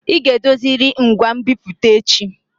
Ị ga edoziriri ngwa nbipute echi!